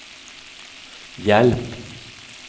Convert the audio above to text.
hjälp